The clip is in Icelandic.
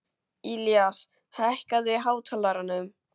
Ilías, hækkaðu í hátalaranum.